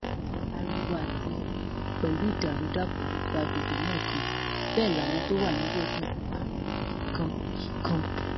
ariwo àti ẹkún pẹlú ìdàrúdàpọ ló gba àgbègbè náà kan bẹẹ làwọn tó wà níbẹ sì ń pariwo kíkan kíkan